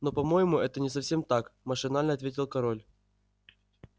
но по-моему это не совсем так машинально ответил король